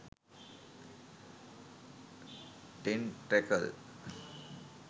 tentacle